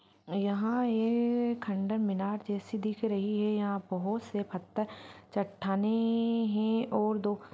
यहाँ ये खंडर मीनार जेसी दिख रही है। यहाँ बहोत से पत्थर चट्टानें-ने-ने हैं और दो --